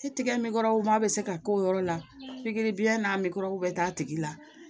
I tigɛ minkɔro ma bɛ se ka k'o yɔrɔ la pikiribiyɛn n'a mɛgɔro bɛ t'a tigi la